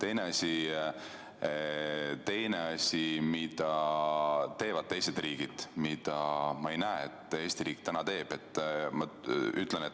On veel teinegi asi, mida teevad teised riigid ja mida ma ei näe, et Eesti riik täna teeb.